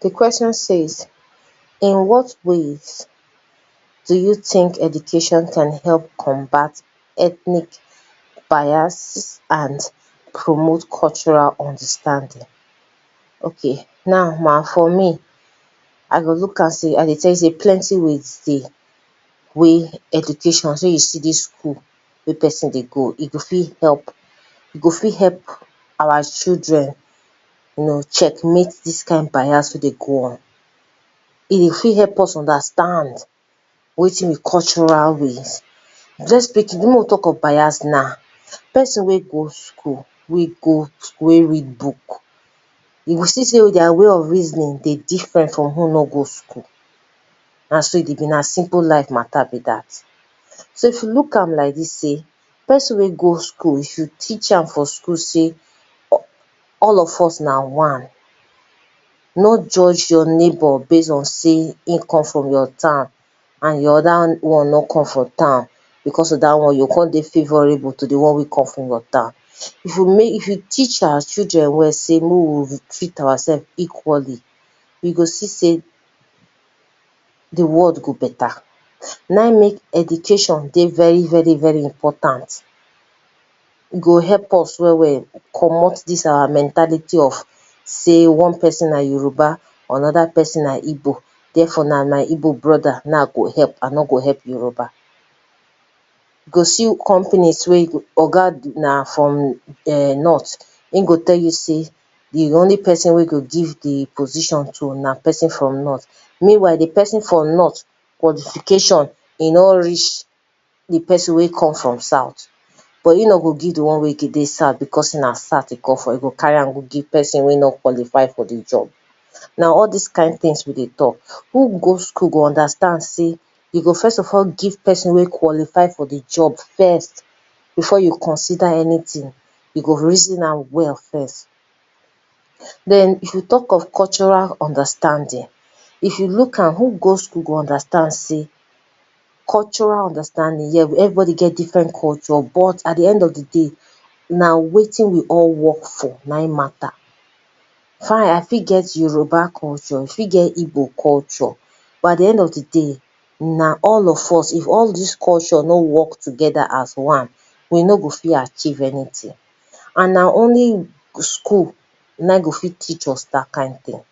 Di question says in what ways do you think education can help combat ethnic bias and promote cultural understanding? okay now ma, for me I dey look am sey I go tell you sey plenty ways dey wey education, shey you see dis school wey person dey go, e go fit help, e go fit our children you know check mate dis kind bias wey dey go on. E go fit help us understand wetin be cultural ways [2] make we talk of bias now, person wey go school, wey go school wey read book you go see sey their way of reasoning dey different from who nor go school, na so e dey be na simple life matter be dat, so if you look am like dis sey, person wey go school if you teach am for school sey, all of us na one, no judge your neighbour based on sey, him come from your town and di oda one nor come from town, because of dat one you go come dey favourable to di one wey come from your town, if we make, if we teach our children well sey, make we treat our self equally we go see sey di world go dey better. Na im make us see sey education dey very very very important e go help us komot dis our mentality of sey one person na Yoruba, another person na I g bo, therefore now na my Igbo brother na im I go help I nor go help Yoruba, you go see company we yoga na from north, im go tell you sey di only person wey im go give di position to na person from north, meanwhile di person from north, qualification nor reach di person wey come from south but e nor go give di person wey come from south because na south e come from e go carry am go give di person wey nor qualify for di job. Na all dis kind things we dey talk who go school go understand sey, you go first of all give person wey qualify for di job first, before you consider anything e go reason am well first. Den if you talk of cultural understanding if you look am, who go school go understand sey, yes cultural understanding everybody get im own culture but at di end f di day, na wetin we all work for na im matter, fine I fit get Yoruba culture, you fit get igbo culture but at di end of di day, na all of us if all dis culture nor work together as one, we nor go fit achieve anything and na only school na im go fit teach us dat kind thing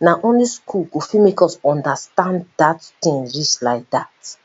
na only school go fit make us understand dat thing reach like dat.